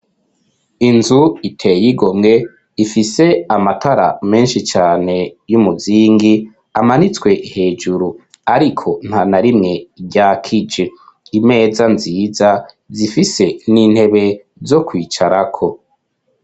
Inzu iteye igomwe ifise amatara menshi cane y'umuzingi amanitswe hejuru, ariko nta na rimwe rya kig imeza nziza zifise n'intebe zo kwicara ko.